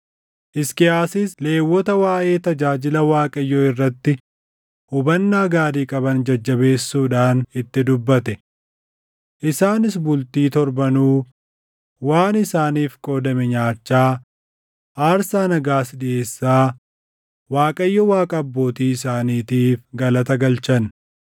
Hisqiyaasis Lewwota waaʼee tajaajila Waaqayyoo irratti hubannaa gaarii qaban jajjabeessuudhaan itti dubbate. Isaanis bultii torbanuu waan isaaniif qoodame nyaachaa, aarsaa nagaas dhiʼeessaa Waaqayyo Waaqa abbootii isaaniitiif galata galchan.